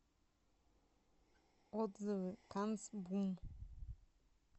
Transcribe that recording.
отзывы канцбум